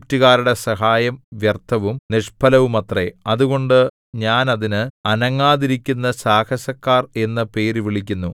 ഈജിപ്റ്റുകാരുടെ സഹായം വ്യർത്ഥവും നിഷ്ഫലവുമത്രേ അതുകൊണ്ട് ഞാൻ അതിന് അനങ്ങാതിരിക്കുന്ന സാഹസക്കാർ എന്നു പേര് വിളിക്കുന്നു